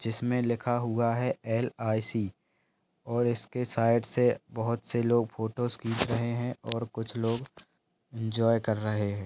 जिसमे लिखा हुआ है एल आई सी और इसके साइड से बोहोत से लोग फोटोस खींच रहे है और कुछ लोग इंजोये क्र रहे है।